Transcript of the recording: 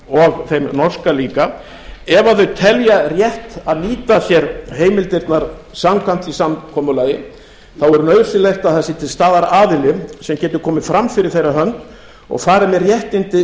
og þeim norska líka ef þau telja rétt að nýta sér heimildirnar samkvæmt því samkomulagi þá er nauðsynlegt að það sé til staðar aðili sem getur komið fram fyrir þeirra hönd og farið með réttindi